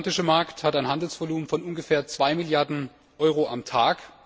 Der transatlantische Markt hat ein Handelsvolumen von ungefähr 2 Milliarden Euro pro Tag.